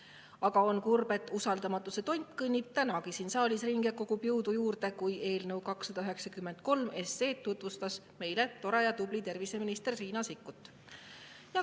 Aga on kurb, et usaldamatuse tont kõndis tänagi siin saalis ringi ja kogus jõudu juurde, kui tore ja tubli terviseminister Riina Sikkut tutvustas meile eelnõu 293.